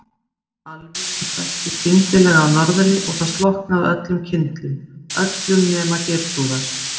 Alviðru hvessti skyndilega af norðri og það slokknaði á öllum kyndlum, öllum nema Geirþrúðar.